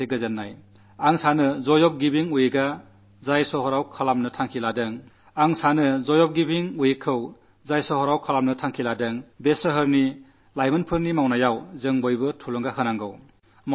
നഗരത്തിൽ നടക്കാൾ പോകുന്ന ഈ വരുന്ന ജോയ് ഓഫ് ഗിവിംഗ് വീക്കിൽ ഈ യുവാക്കളുടെ ഉത്സാഹത്തെ പ്രോത്സാഹിപ്പിക്കണം അവരെ സഹായിക്കണം